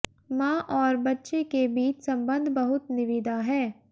माँ और बच्चे के बीच संबंध बहुत निविदा है